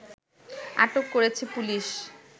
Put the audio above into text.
আটক করেছে পুলিশ